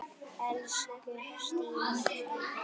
Elsku Stína frænka.